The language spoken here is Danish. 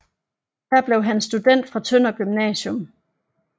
Her blev han student fra Tønder Gymnasium